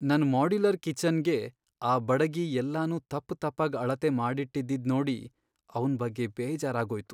ನನ್ ಮಾಡ್ಯುಲರ್ ಕಿಚನ್ಗೆ ಆ ಬಡಗಿ ಎಲ್ಲನೂ ತಪ್ಪ್ ತಪ್ಪಾಗ್ ಅಳತೆ ಮಾಡಿಟ್ಟಿದ್ದಿದ್ನೋಡಿ ಅವ್ನ್ ಬಗ್ಗೆ ಬೇಜಾರಾಗೋಯ್ತು.